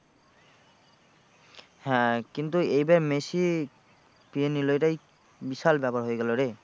হ্যাঁ কিন্তু এইবার মেসি এটাই বিশাল ব্যাপার হয়ে গেলো রে।